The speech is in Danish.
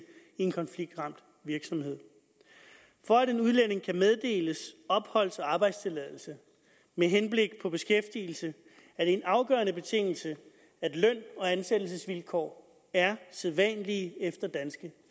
en konfliktramt virksomhed for at en udlænding kan meddeles opholds og arbejdstilladelse med henblik på beskæftigelse er det en afgørende betingelse at løn og ansættelsesvilkår er sædvanlige efter danske